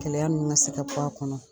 Kɛlɛya nunnu ŋa se ka bɔ a kɔnɔ.